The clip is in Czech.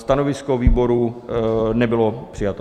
Stanovisko výboru nebylo přijato.